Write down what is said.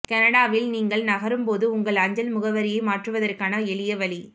கனடாவில் நீங்கள் நகரும் போது உங்கள் அஞ்சல் முகவரியை மாற்றுவதற்கான எளிய வழி